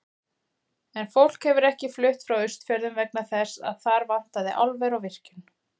En fólk hefur ekki flutt frá Austfjörðum vegna þess að þar vantaði álver og virkjun.